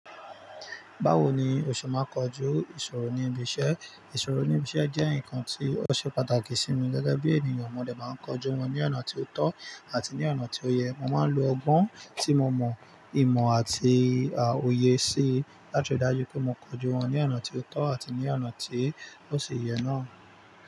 Báwo ni òṣù máa kojú ìṣòro níbi iṣẹ́? Ìṣòro níbi iṣẹ́ jẹ́ nǹkan tí ó ṣe pàtàkì sí mi gẹ́gẹ́ bí ènìyàn. Mo dè máa ń kojú wọn ní ọ̀nà tí ó tọ́ àti ní ọ̀nà tí ó yẹ. Mo máa ń lo ọgbọ́n tí mo mọ̀, ìmọ̀ àti òye sí i láti ri dájú pé mo kojú wọn ní ọ̀nà tí ó tọ́ àti ní ọ̀nà tí ó ṣe yẹ náà.